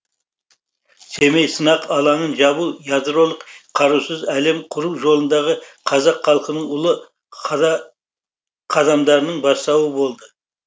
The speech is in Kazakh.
семей сынақ алаңын жабу ядролық қарусыз әлем құру жолындағы қазақ халқының ұлы қадамдарының бастауы болды